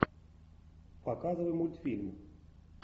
показывай мультфильм